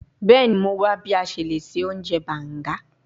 Bẹẹni, Mo wa bi a ṣe le ṣe ounjẹ banga